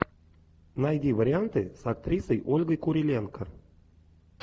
найди варианты с актрисой ольгой куриленко